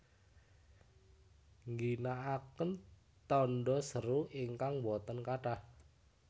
Ngginakaken tanda seru ingkang boten kathah